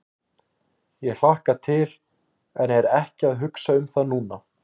Ég hlakka til en er ekki að hugsa um það núna.